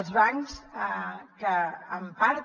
els bancs que en part